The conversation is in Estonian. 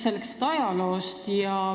Räägime ajaloost.